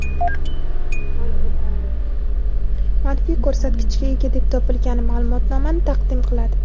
manfiy ko‘rsatkichga ega deb topilgan ma’lumotnomani taqdim qiladi.